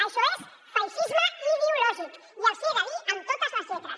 això és feixisme ideològic i els hi he de dir amb totes les lletres